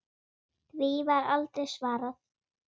Því var aldrei svarað.